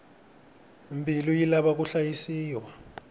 mbilu yi lava ku hlayisiwa